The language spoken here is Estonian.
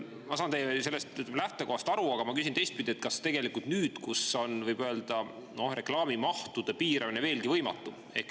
Ma saan sellest teie lähtekohast aru, aga ma küsin teistpidi: kas nüüd, kui reklaamimahtude piiramine on veelgi võimatum …